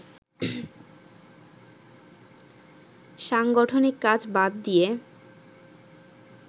সাংগঠনিক কাজ বাদ দিয়ে